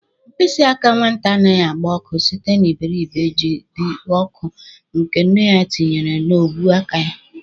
Mkpịsị aka nwata anaghị agba ọkụ site n'iberibe ji dị ọkụ nke nne ya tinyere n'ọbụ aka ya.